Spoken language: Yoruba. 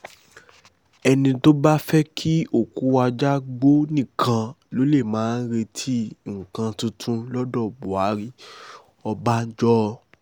ẹni tó bá fẹ́ kí òkú ajá gbọ́ nìkan ló lè máa retí nǹkan tuntun lọ́dọ̀ buhari ọbànjọ́